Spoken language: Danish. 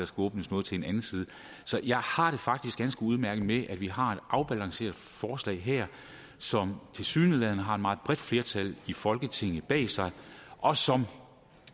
skal åbnes noget til en anden side jeg har det faktisk ganske udmærket med at vi har et afbalanceret forslag her som tilsyneladende har et meget bredt flertal i folketinget bag sig og som